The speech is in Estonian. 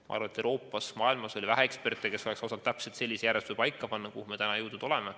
Ma arvan, et Euroopas ja mujal maailmas oli vähe eksperte, kes oleks osanud paika panna täpselt sellise järjestuse, milleni me täna jõudnud oleme.